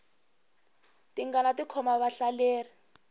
tingana ti khoma vahlaleri